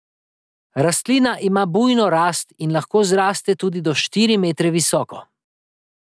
Rastlina ima bujno rast in lahko zraste tudi do štiri metre visoko.